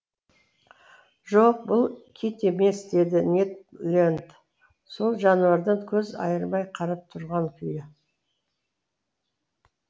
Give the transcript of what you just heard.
жоқ бұл кит емес деді нед ленд сол жануардан көз айырмай қарап тұрған күйі